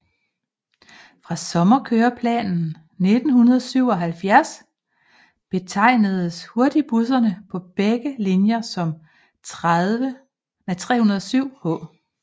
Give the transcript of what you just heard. Fra sommerkøreplanen 1977 betegnedes hurtigbusserne på begge linjer som 307H